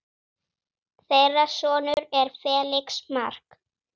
Þeirra sonur er Felix Mark.